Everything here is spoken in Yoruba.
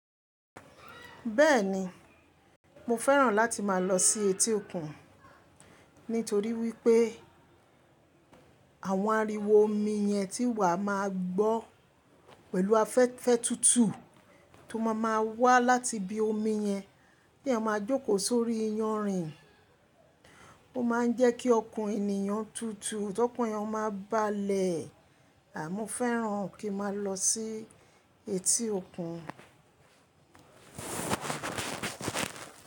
Bẹ́ẹ̀ni, mo fẹ́ràn láti máa lọ sí etí òkun nítorí wípé àwọn ariwo omi yẹn tí wàá máa gbọ́ pẹ̀lú afẹ́fẹ́ tútù tó máa má wá láti ibi omi yẹn, t’èèyàn máa jókòó sórí iyanrìn ó ma ń jẹ́ kí ọkàn ènìyàn tútù, t'ọkan èèyàn máa bá le è. À mo fẹ́ràn kí n máa lọ sí etí òkun.